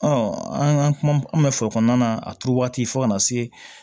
an ka kuma bɛ fɔ kɔnɔna na a turu waati fo ka na se